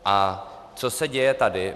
A co se děje tady?